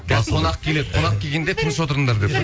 қонақ келеді қонақ келгенде тыныш отырыңдар деп пе